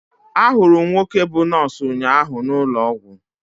Ahụrụ m nwoke bú nọọsụ ụnyaahụ n'ụlọ ọgwụ.